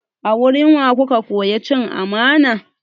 A wurin wa ka koya cin amana?